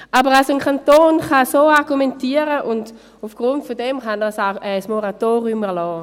Aber ein Kanton kann also so argumentieren, und aufgrund dessen kann er ein Moratorium erlassen.